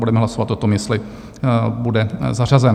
Budeme hlasovat o tom, jestli bude zařazen.